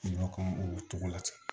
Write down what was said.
Ɲɔ kan o togo la ten